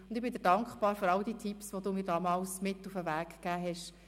Ich bin dir dankbar für all die Tipps, die du mir mit auf den Weg gegeben hast.